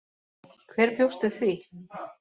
Hver bjóst við því?